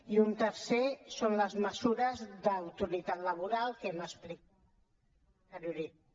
i un tercer són les mesures d’autoritat laboral que hem explicat amb anterioritat